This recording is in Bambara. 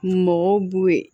Mɔgɔw b'o ye